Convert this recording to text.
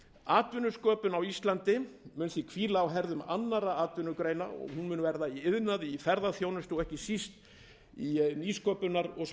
atvinnusköpun á íslandi mun því hvíla á herðum annarra atvinnugreina og verða í iðnaði ferðaþjónustu og ekki síst í nýsköpunar